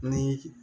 Ni